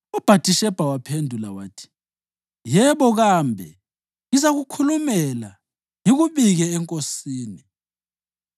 UBhathishebha waphendula wathi, “Yebo kambe, ngizakukhulumela ngikubike enkosini.”